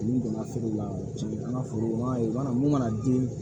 N'u donna feere la o ti an ka foro mana mun mana den